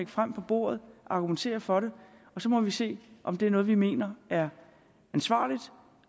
frem og argumentere for så må vi se om det er noget vi mener er ansvarligt